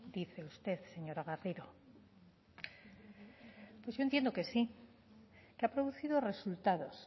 dice usted señora garrido pues yo entiendo que sí que ha producido resultados